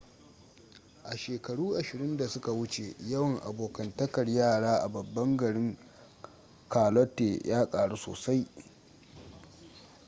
a shekaru 20 da suka wuce yawan abokantakar yara a babban garin charlotte ya karu sosai